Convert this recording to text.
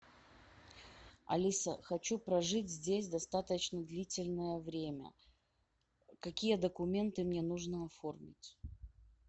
алиса хочу прожить здесь достаточно длительное время какие документы мне нужно оформить